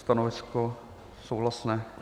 Stanovisko souhlasné.